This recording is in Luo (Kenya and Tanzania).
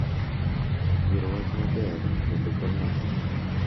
Goro wach maber bende konyo ahinya